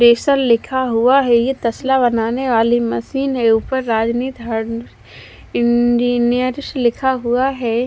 डेसल लिखा हुआ है ये तेस्ला बनाने मेसिन है ऊपर रजनी थार्न इंजीनियर्स लिखा हुआ है।